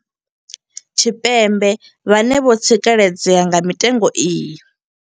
Tshipembe vhane vho tsikeledzea nga mitengo iyi.